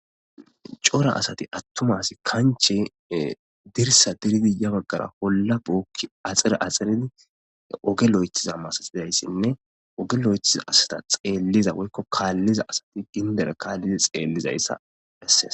cora asati attumasi kanche dirsa diridiya baggara wolla bookki axire axxiridi oge loyethiza masatizayssinne oge lo7ethiza asta xeelliza woykko kaalliza asati gindere kaallidi xeellizayssa esses